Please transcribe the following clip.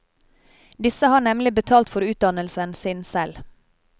Disse har nemlig betalt for utdannelsen sin selv.